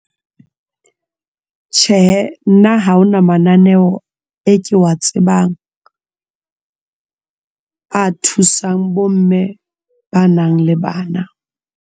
Tjhe, nna ha hona mananeo e ke wa tsebang a thusang bomme ba nang le bana.